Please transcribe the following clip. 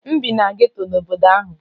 M bi na geto n'obodo ahụ.